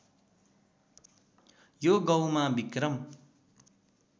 यो गाउँमा विक्रम